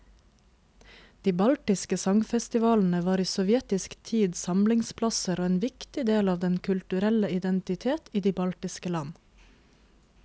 De baltiske sangfestivalene var i sovjetisk tid samlingsplasser og en viktig del av den kulturelle identitet i de baltiske land.